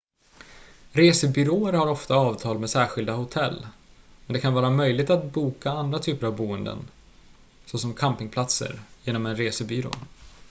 resebyråer har ofta avtal med särskilda hotell men det kan vara möjligt att boka andra typer av boenden såsom campingplatser genom en resebyrå